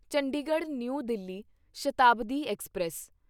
Chandigarh New Delhi Shatabdi express